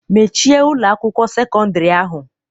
Mechie Ụlọ akwụkwọ sekọndrị ahu.